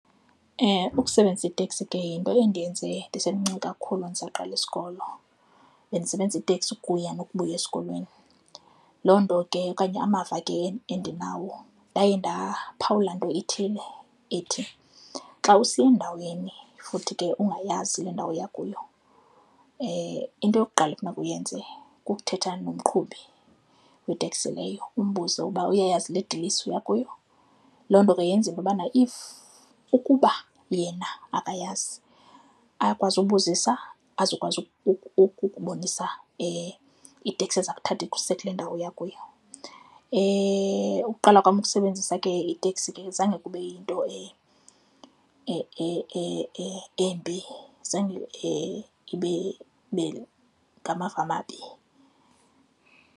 Ukusebenzisa iteksi ke yinto endiyenze ndisemncinci kakhulu ndisaqala isikolo. Bendisebenzisa iteksi ukuya nokubuya esikolweni, loo nto ke okanye amava endinawo ndaye ndaphawula into ithile ethi, xa usiya endaweni futhi ke ungayazi le ndawo oya kuwo, into yokuqala ekufuneka uyenze kukuthetha nomqhubi wetekisi leyo umbuze uba uyayazi le dilesi uya kuyo. Loo nto ke yenza into yobana if, ukuba yena akayazi akwazi ubuzisa azokwazi ukukubonisa iteksi ezakuthatha ikuse kule ndawo uya kuyo. Uqala kwam ukusebenzisa ke iteksi ke zange kube yinto embi, zange ibe ngamavama amabi.